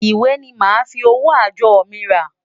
Ìwé ni màá fi owó àjọ mi rà.